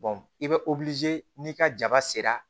i bɛ n'i ka jaba sera